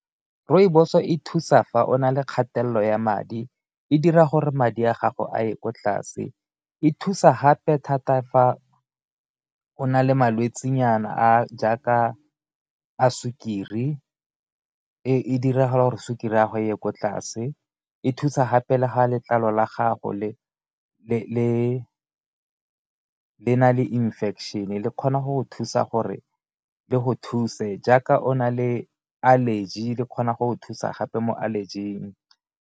Rooibos e thusa fa o na le kgatelelo ya madi e dira gore madi a gago a ye kwa tlase, e thusa gape thata fa o na le malwetse nyana a jaaka a sukiri e dira gore sukiri ya go e ye ko tlase, e thusa gape le ga letlalo la gago le na le infection-e le kgona go go thusa gore le go thuse jaaka o na le allergy le kgona go go thusa gape mo allergy-ing.